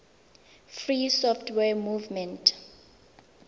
free software movement